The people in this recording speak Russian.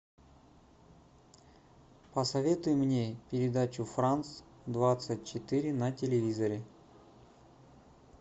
посоветуй мне передачу франс двадцать четыре на телевизоре